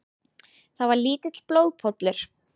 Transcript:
Það var lítill blóðpollur.